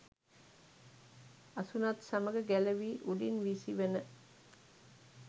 අසුනත් සමග ගැලවී උඩින් විසි වන